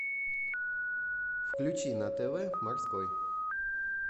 включи на тв морской